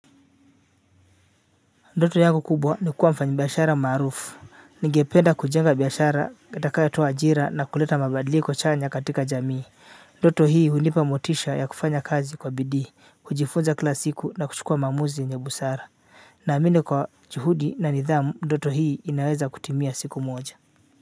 Ndoto yangu kubwa ni kuwa mfanyibiashara maarufu ningependa kujenga biashara itakayotoa ajira na kuleta mabadiliko chanya katika jamii ndoto hii hunipa motisha ya kufanya kazi kwa bidii kujifunza kila siku na kuchukua maamuzi yenye busara naamini kwa juhudi na nidhamu ndoto hii inaweza kutimia siku moja.